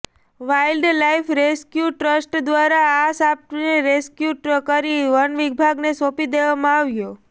wild life rescue trust દ્વારા આ સાંપને રેસ્ક્યુ કરી વન વિભાગને સોંપી દેવામાં આવ્યો